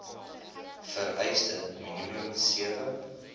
vereiste minimum sewe